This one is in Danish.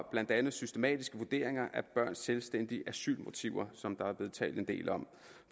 blandt andet systematiske vurderinger af børns selvstændige asylmotiver som der er blevet talt en del om